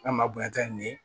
N'a ma bonya ka nin